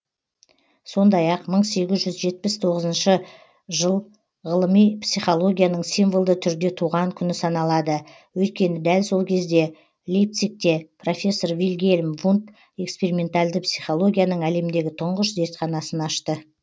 сондай ақ мың сегіз жүз жетпіс тоғызыншы жыл ғылыми психологияның символды түрде туған күні саналады өйткені дәл сол кезде лейпцигте профессор вильгельм вундт экспериментальды психологияның әлемдегі тұңғыш зертханасын ашты